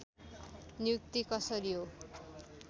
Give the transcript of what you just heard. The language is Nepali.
नियुक्ति कसरी हो